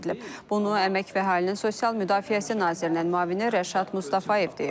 Bunu əmək və əhalinin sosial müdafiəsi nazirinin müavini Rəşad Mustafayev deyib.